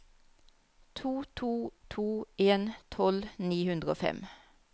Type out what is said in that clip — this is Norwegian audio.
to to to en tolv ni hundre og fem